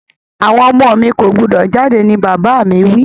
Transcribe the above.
Àwon ọmọ mi ko gbúdọ̀ jáde ni bàbà mi wi